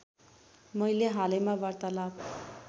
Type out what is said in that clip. मैले हालैमा वार्तालाप